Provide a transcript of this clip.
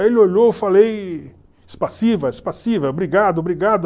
Aí ele olhou, eu falei obrigado, obrigado.